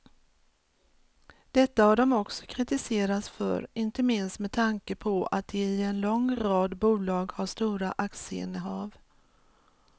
Detta har de också kritiserats för, inte minst med tanke på att de i en lång rad bolag har stora aktieinnehav.